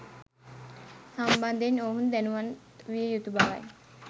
සම්බන්ධයෙන් ඔවුන් දැනුවත් විය යුතු බවයි.